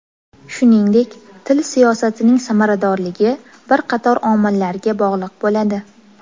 Shuningdek, til siyosatining samaradorligi bir qator omillarga bog‘liq bo‘ladi.